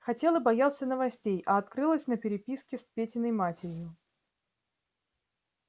хотел и боялся новостей а открылась на переписке с петиной матерью